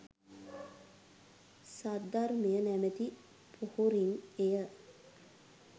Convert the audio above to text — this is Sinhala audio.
සද්ධර්මය නැමති පොහොරින් එය